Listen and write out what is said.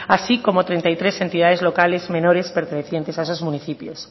así como treinta y tres entidades locales menores pertenecientes a esos municipios